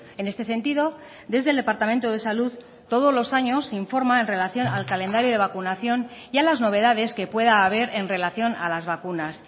en este sentido desde el departamento de salud todos los años se informa en relación al calendario de vacunación y a las novedades que pueda haber en relación a las vacunas